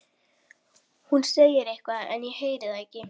Hún segir eitthvað en ég heyri það ekki.